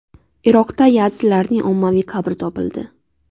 Iroqda yazidlarning ommaviy qabri topildi.